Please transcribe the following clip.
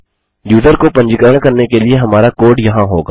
user को पंजीकरण करने के लिए हमारा कोड यहाँ होगा